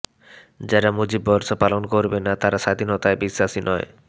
যারা মুজিববর্ষ পালন করবে না তারা স্বাধীনতায় বিশ্বাসী নয়